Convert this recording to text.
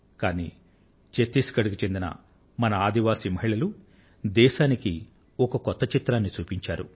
కానీ ఛత్తీస్ గఢ్ కు చెందిన మన ఆదివాసి మహిళలు దేశానికి ఒక కొత్త చిత్రాన్ని చూపించారు